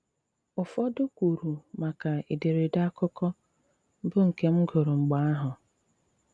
Ùfọdụ kwùrù maka èdèrèdè àkụ̀kọ, bụ́ nke m gụrụ mg̀bè àhụ̀.